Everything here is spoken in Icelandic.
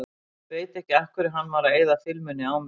Veit ekki af hverju hann var að eyða filmunni á mig.